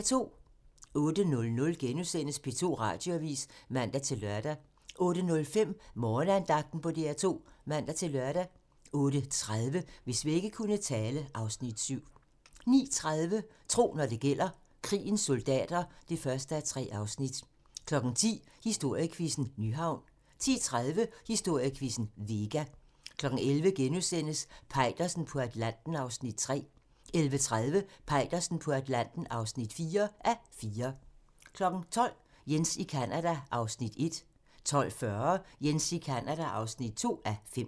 08:00: P2 Radioavis *(man-lør) 08:05: Morgenandagten på DR2 (man-lør) 08:30: Hvis vægge kunne tale (Afs. 7) 09:30: Tro, når det gælder: Krigens soldater (1:3) 10:00: Historiequizzen: Nyhavn 10:30: Historiequizzen: Vega 11:00: Peitersen på Atlanten (3:4)* 11:30: Peitersen på Atlanten (4:4) 12:00: Jens i Canada (1:5) 12:40: Jens i Canada (2:5)